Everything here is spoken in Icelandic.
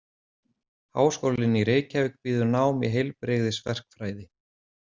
Háskólinn í Reykjavík býður nám í heilbrigðisverkfræði.